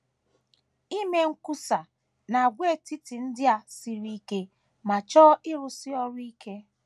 Ime nkwusa n’àgwàetiti ndị a siri ike ma chọọ ịrụsi ọrụ ike.